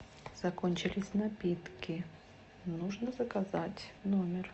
закончились напитки нужно заказать в номер